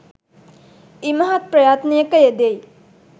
ඉමහත් ප්‍රයත්නයක යෙදෙයි.